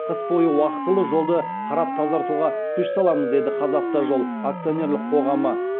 қыс бойы уақтылы жолды қарап тазартуға күш саламыз деді қазавтожол акционерлік қоғамы